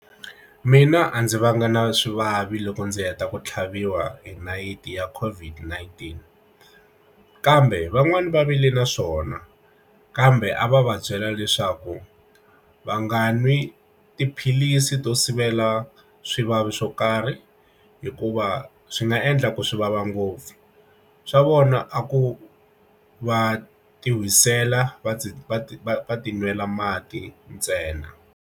Mina a ndzi vanga na swivavi loko ndzi heta ku tlhaviwa nayiti ya COVID-19 kambe van'wani va vile na swona kambe a va va byela leswaku va nga nwi tiphilisi to sivela swivavi swo karhi hikuva swi nga endla ku swivava ngopfu swa vona a ku va ti n'wisela va ti va ti va ti nwela mati ntsena.